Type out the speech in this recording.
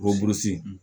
Ɔn burusi